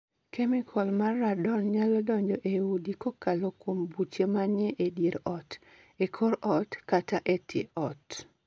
Kemikol mar Radon nyalo donjo e udi kokalo kuom buche ma ni e dier ot, e kor ot kata e tie ot.